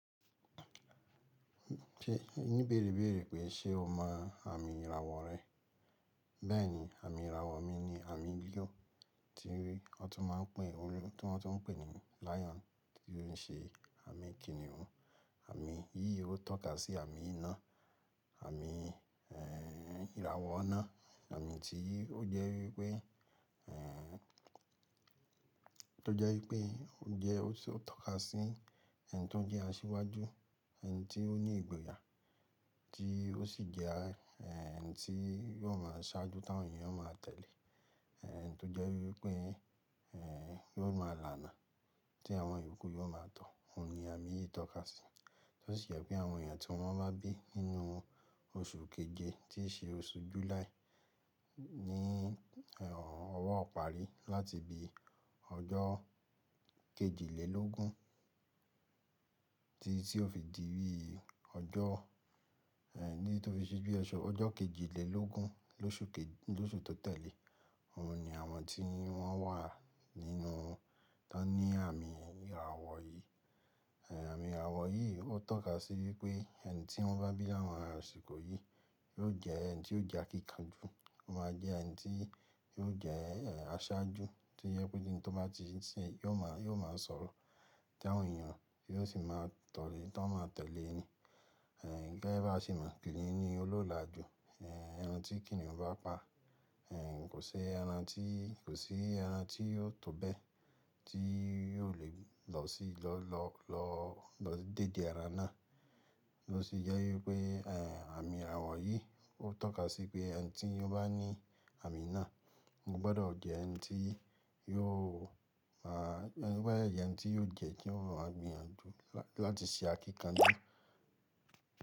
Ṣé o ní béèrè béèrè pé ṣe o mọ àmì ìràwọ̀ rẹ? Bẹ́ẹ̀ni, àmì ìràwọ̀ mi ni àmì líò, tí wọ́n tún máa ń pè, tí wọ́n tún ń pè ní lion, tí ó ń ṣe àmì kìnnìún. Àmì yìí ó tọ́ka sí àmì iná. Àmì ìràwọ̀ iná, àmì tí ó jẹ́ wípé, è, tó jẹ́ wípé ó jẹ́ ó sì ó tọ́ka sí ẹni tó ń jẹ́ aṣíwájú, ẹni tí ó ní ìgboyà tí ó sì jẹ́ ẹni tí yóò máa ṣáájú tí àwọn èèyàn yóò máa tẹ̀lé. Ẹni tó jẹ́ wípé, ẹh, yóò máa lànàá tí àwọn ìyókù yóò máa tọ̀. Òun ni àmì yìí ń tọ́ka sí. Tó sì jẹ́ pé àwọn èèyàn tí wọ́n bá bí nínú oṣù keje tí í ṣe oṣù July ní ọwọ́ ìparí láti bi ọjọ́ kejìlélógún títí tí óò fi di bí ọjọ́, èh, tí ó fi ṣe bí ọjọ́ kejìlélógún lóṣù tó tẹ̀lé. Òun ni àwọn tí wọ́n wà nínú, t'ọ́n ní àmì ìràwọ̀ yìí. Àmì ìràwọ̀ yìí ó tọ́ka sí wípé ẹni tí wọ́n bá bí láwọn ara àsìkò yìí yóò jẹ́ ẹni tí ó jẹ́ akíkanjú. Ó máa jẹ́ ẹni tí yóò jẹ́ aṣáájú tí ó jẹ́ pé níbi tó bá ti ń yóò máa, yóò máa sọ̀rọ̀ tí àwọn èèyàn yóò sì máa tọ̀lé tí wọ́n máa tẹ̀lé ẹni. Ẹ gẹ́gẹ́ báa ṣe mọ̀, kìnnìún ni olóòlà jù. Ẹran tí kìnnìún bá pa, kò sí ẹran tí, kò sí ẹran tí yóò tó bẹ́ẹ̀, tí yóò lè lọ sí, lọ, lọ, lọ dédé ara náà. Ó ṣe jẹ́ wípé àmì ìràwọ̀ yìí ó tọ́ka sí pé ẹni tí ó bá ní àmì náà gbọ́dọ̀ jẹ́ ẹni tí yóò máa, gbọ́dọ̀ jẹ́ ẹni tí yóò jẹ́ kí ó máa gbìyànjú láti ṣe akíkanjú.